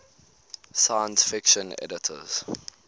science fiction editors